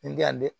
N tɛ yan dɛ